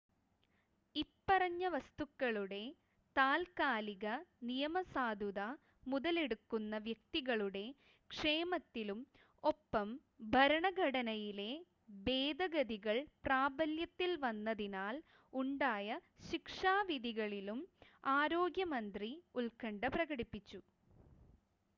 ഇപ്പറഞ്ഞ വസ്തുക്കളുടെ താത്ക്കാലിക നിയമസാധുത മുതലെടുക്കുന്ന വ്യക്തികളുടെ ക്ഷേമത്തിലും ഒപ്പം ഭരണഘടനയിലെ ഭേദഗതികൾ പ്രാബല്യത്തിൽ വന്നതിനാൽ ഉണ്ടായ ശിക്ഷാവിധികളിലും ആരോഗ്യമന്ത്രി ഉത്കണ്ഠ പ്രകടിപ്പിച്ചു